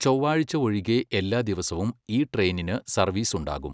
ചൊവ്വാഴ്ച ഒഴികെ എല്ലാ ദിവസവും ഈ ട്രെയിനിന് സര്വീസുണ്ടാകും